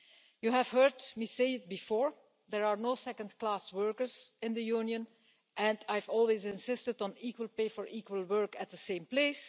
You have heard me say before that there are no second class workers in the Union and I've always insisted on equal pay for equal work at the same place.